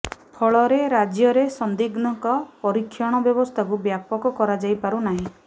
ଫଳରେ ରାଜ୍ୟରେ ସନ୍ଦିଗ୍ଧଙ୍କ ପରୀକ୍ଷଣ ବ୍ୟବସ୍ଥାକୁ ବ୍ୟାପକ କରାଯାଇପାରୁ ନାହିଁ